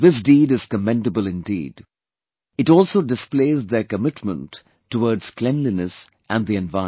This deed is commendable indeed; it also displays their commitment towards cleanliness and the environment